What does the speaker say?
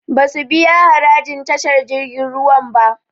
Basu biya harajin tashar jirgin ruwan ba